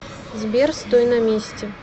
сбер стой на месте